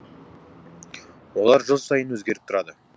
олар жыл сайын өзгеріп тұрады